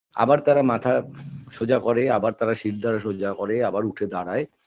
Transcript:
আবার তারা মাথা সোজা করে আবার তারা শিরদাঁড়া সোজা করে আবার উঠে দাঁড়ায়